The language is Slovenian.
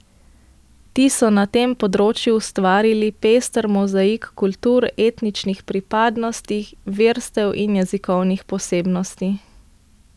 Ti so na tem področju ustvarili pester mozaik kultur, etničnih pripadnosti, verstev in jezikovnih posebnosti.